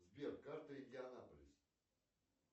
сбер карта индианаполис